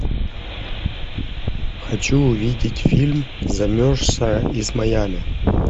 хочу увидеть фильм замерзшая из майами